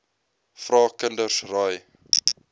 vra kinders raai